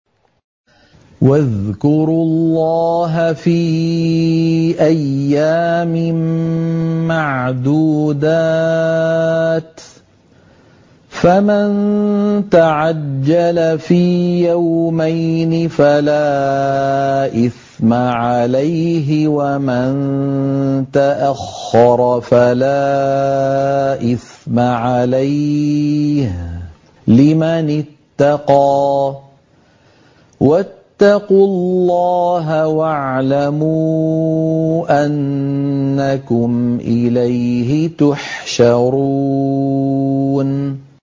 ۞ وَاذْكُرُوا اللَّهَ فِي أَيَّامٍ مَّعْدُودَاتٍ ۚ فَمَن تَعَجَّلَ فِي يَوْمَيْنِ فَلَا إِثْمَ عَلَيْهِ وَمَن تَأَخَّرَ فَلَا إِثْمَ عَلَيْهِ ۚ لِمَنِ اتَّقَىٰ ۗ وَاتَّقُوا اللَّهَ وَاعْلَمُوا أَنَّكُمْ إِلَيْهِ تُحْشَرُونَ